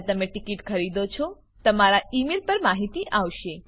જયારે તમે ટીકીટ ખરીદો છો તમારા ઈ મેઈલ પર માહિતી આવશે